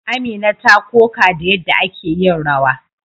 Amina ta koka da yadda ake yin rawa.